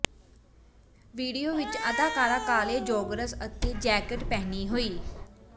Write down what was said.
video ਵਿੱਚ ਅਦਾਕਾਰਾ ਕਾਲੇ ਜੌਗਰਸ ਅਤੇ ਜੈਕਟ ਪਹਿਨੀ ਹੋਈ